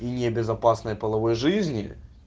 и небезопасная половой жизни